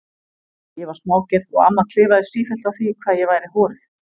Ég var smágerð og amma klifaði sífellt á því hvað ég væri horuð.